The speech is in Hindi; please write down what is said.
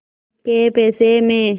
कै पैसे में